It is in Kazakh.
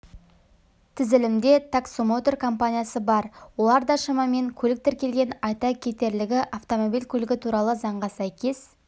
тізілімде таксомотор компаниясы бар оларда шамамен көлік тіркелген айта кетерлігі автомобиль көлігі туралы заңға сәйкес